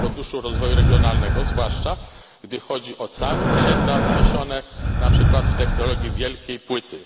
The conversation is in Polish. w Funduszu Rozwoju Regionalnego, zwłaszcza gdy chodzi o całe osiedla wzniesione na przykład w technologii wielkiej płyty.